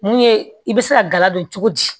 Mun ye i bɛ se ka gala don cogo di